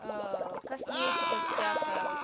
косметика всякая вот